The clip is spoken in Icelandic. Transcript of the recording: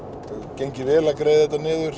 gengið vel að greiða þetta niður